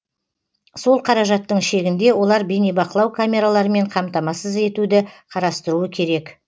сол қаражаттың шегінде олар бейнебақылау камераларымен қамтамасыз етуді қарастыруы керек